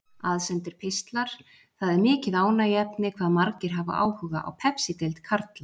Aðsendir pistlar Það er mikið ánægjuefni hvað margir hafa áhuga á Pepsideild karla.